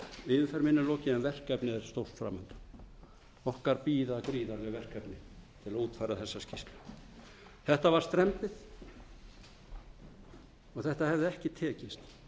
stórt fram undan okkar bíða gríðarleg verkefni til að útfæra þessa skýrslu þetta var strembið og þetta hefði ekki tekist